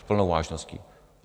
S plnou vážností.